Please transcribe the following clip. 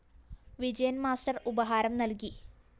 വിജയന്‍ master ഉപഹാരം നല്‍കി